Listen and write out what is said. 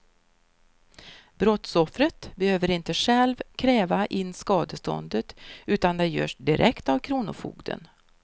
Brottsoffret behöver inte själv kräva in skadeståndet utan det görs direkt av kronofogden.